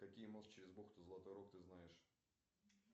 какие мост через бухту золотой рог ты знаешь